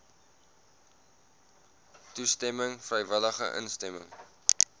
toestemming vrywillige instemming